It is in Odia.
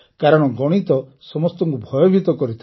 କାରଣ ଗଣିତ ସମସ୍ତଙ୍କୁ ଭୟଭୀତ କରିଥାଏ